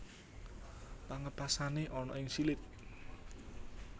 Pengapesané ana ing silit